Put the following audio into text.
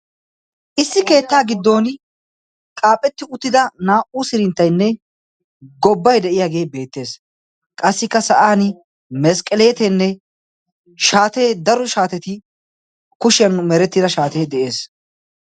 Issi keettaa giddon qaaphphetti uttida naa"u sirinttainne gobbai de'iyaagee beettees qassikka sa'an masqqeleeteenne shaatee daro shaateti kushiyan merettida shaatee de'ees.